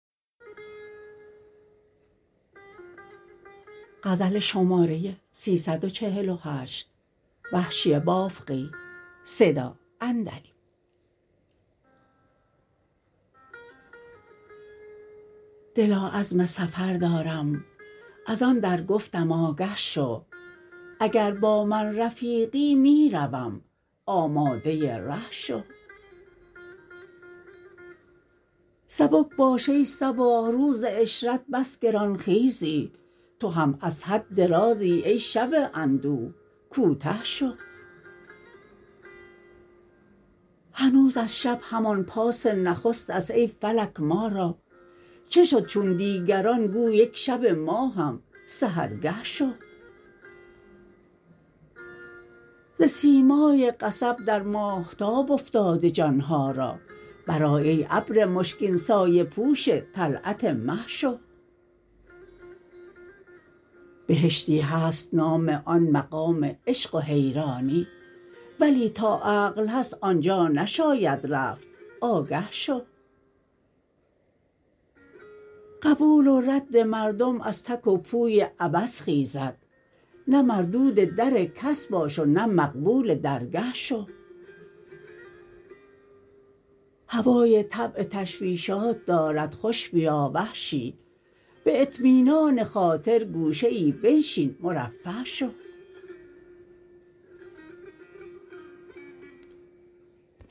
دلا عزم سفر دارم از آن در گفتم آگه شو اگر با من رفیقی می روم آماده ره شو سبک باش ای صباح روز عشرت بس گران خیزی تو هم از حد درازی ای شب اندوه کوته شو هنوز از شب همان پاس نخست است ای فلک مارا چه شد چون دیگران گو یک شب ما هم سحر گه شو ز سیمای قصب درماهتاب افتاده جانها را برآی ای ابر مشکین سایه پوش طلعت مه شو بهشتی هست نام آن مقام عشق و حیرانی ولی تا عقل هست آنجا نشاید رفت آگه شو قبول ورد مردم از تک و پوی عبث خیزد نه مردود در کس باش و نه مقبول در گه شو هوای طبع تشویشات دارد خوش بیا وحشی به اطمینان خاطر گوشه ای بنشین مرفه شو